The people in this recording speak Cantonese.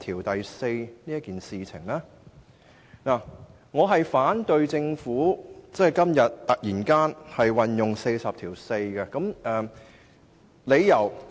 基於下述4個理由，我反對政府今天突然根據第404條動議議案。